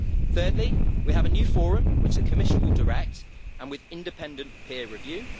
Thirdly, we have a new forum, which the Commission will direct and with independent peer review.